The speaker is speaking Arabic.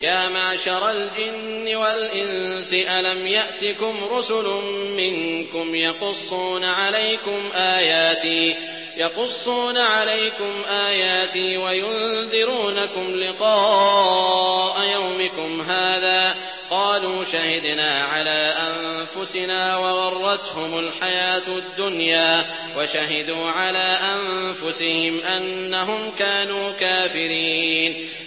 يَا مَعْشَرَ الْجِنِّ وَالْإِنسِ أَلَمْ يَأْتِكُمْ رُسُلٌ مِّنكُمْ يَقُصُّونَ عَلَيْكُمْ آيَاتِي وَيُنذِرُونَكُمْ لِقَاءَ يَوْمِكُمْ هَٰذَا ۚ قَالُوا شَهِدْنَا عَلَىٰ أَنفُسِنَا ۖ وَغَرَّتْهُمُ الْحَيَاةُ الدُّنْيَا وَشَهِدُوا عَلَىٰ أَنفُسِهِمْ أَنَّهُمْ كَانُوا كَافِرِينَ